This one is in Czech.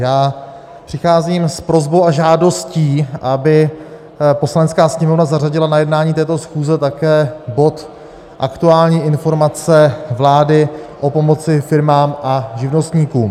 Já přicházím s prosbou a žádostí, aby Poslanecká sněmovna zařadila na jednání této schůze také bod Aktuální informace vlády o pomoci firmám a živnostníkům.